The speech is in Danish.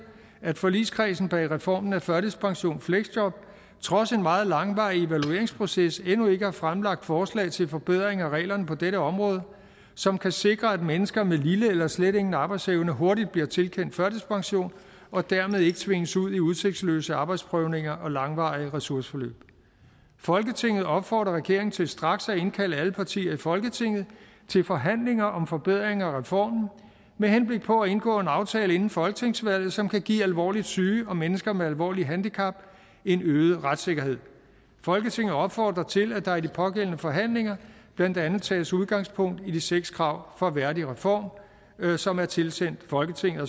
at forligskredsen bag reformen af førtidspensionfleksjob trods en meget langvarig evalueringsproces endnu ikke har fremlagt forslag til forbedring af reglerne på dette område som kan sikre at mennesker med lille eller slet ingen arbejdsevne hurtigt bliver tilkendt førtidspension og dermed ikke tvinges ud i udsigtsløse arbejdsprøvninger og langvarige ressourceforløb folketinget opfordrer derfor regeringen til straks at indkalde alle partier i folketinget til forhandlinger om forbedringer af reformen med henblik på at indgå en aftale inden folketingsvalget som kan give alvorligt syge og mennesker med alvorlige handicap en øget retssikkerhed folketinget opfordrer til at der i de pågældende forhandlinger blandt andet tages udgangspunkt i de seks krav fra værdigreform som er tilsendt folketinget